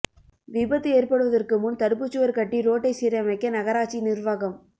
விபத்து ஏற்படுவதற்கு முன் தடுப்புச்சுவர் கட்டி ரோட்டை சீரமைக்க நகராட்சி நிர்வாகம்